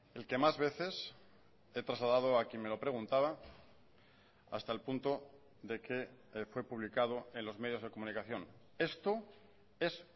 el que más veces he trasladado a quien me lo preguntaba hasta el punto de que fue publicado en los medios de comunicación esto es